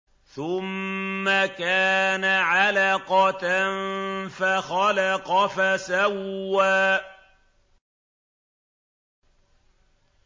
ثُمَّ كَانَ عَلَقَةً فَخَلَقَ فَسَوَّىٰ